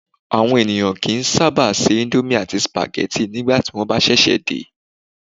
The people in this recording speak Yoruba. Àwọn ènìyàn kì í sábà se íńdómì àti sípágì nígbà tí wọ́n ṣẹ̀ṣẹ̀ dé.